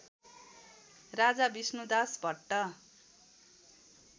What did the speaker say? Raja Vishnudas Bhatt